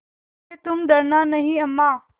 हैतुम डरना नहीं अम्मा